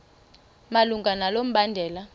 malunga nalo mbandela